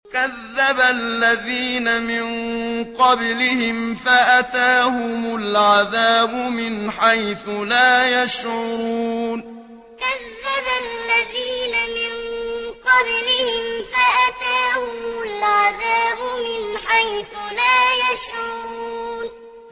كَذَّبَ الَّذِينَ مِن قَبْلِهِمْ فَأَتَاهُمُ الْعَذَابُ مِنْ حَيْثُ لَا يَشْعُرُونَ كَذَّبَ الَّذِينَ مِن قَبْلِهِمْ فَأَتَاهُمُ الْعَذَابُ مِنْ حَيْثُ لَا يَشْعُرُونَ